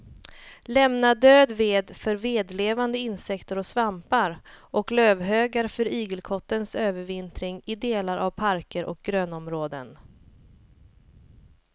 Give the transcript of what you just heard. Lämna död ved för vedlevande insekter och svampar och lövhögar för igelkottens övervintring i delar av parker och grönområden.